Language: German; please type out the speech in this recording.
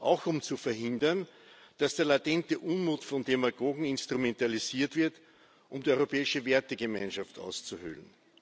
Auch um zu verhindern, dass der latente Unmut von Demagogen instrumentalisiert wird, um die europäische Wertegemeinschaft auszuhöhlen.